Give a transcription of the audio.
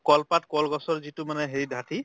কল পাত কল গছৰ যিটো মানে হেৰি দাঠি